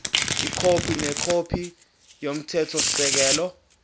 ikhophi nekhophi yomthethosisekelo